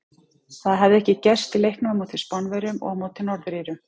Það hafði ekki gerst í leiknum á móti Spánverjum og á móti Norður Írum.